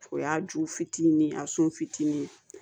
O y'a ju fitinin a sun fitini ye